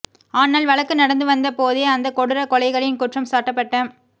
ஆனால் வழக்கு நடந்துவந்த போதே அந்தக் கொடூரக் கொலைகளில் குற்றம் சாட்டப்பட்ட